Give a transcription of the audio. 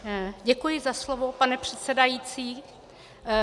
Děkuji za slovo, pane předsedající.